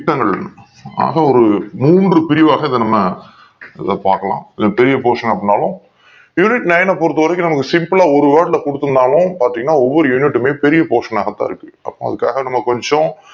ஆக ஒரு மூன்று பிரிவாக நாம இத பாக்கலாம் இது பெரிய portion அப்டினாலு unit nine பொருத்த வரைக்கும் நமக்கு simple லா ஒரு word ல கொடுத்து இருந்தாலும் பாத்திங்கனா ஒவ்வொரு unit மே பெரிய Portion ஆகாக இருக்கு அப்போ அதுக்கு கொஞ்சோ,